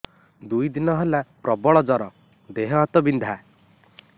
ଦୁଇ ଦିନ ହେଲା ପ୍ରବଳ ଜର ଦେହ ହାତ ବିନ୍ଧା